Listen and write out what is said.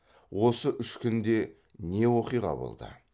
осы үш күнде не оқиға болды